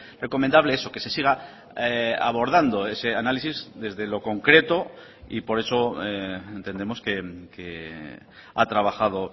recomendable eso que se siga abordando ese análisis desde lo concreto y por eso entendemos que ha trabajado